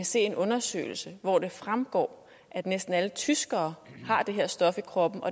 se en undersøgelse hvoraf det fremgår at næsten alle tyskere har det her stof i kroppen og